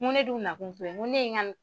Ŋo ne dun nakun t'o ye, ŋo ne ye ŋa n